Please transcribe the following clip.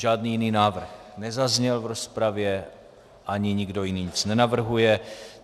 Žádný jiný návrh nezazněl v rozpravě ani nikdo jiný nic nenavrhuje.